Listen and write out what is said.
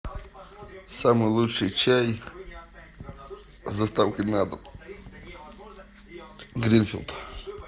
самый лучший чай с доставкой на дом гринфилд